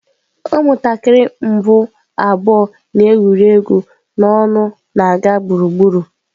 Ụmụntakịrị mbụ abụọ na-egwuri egwu n'ọṅụ na-aga gburugburu.